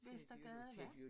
Vestergade ja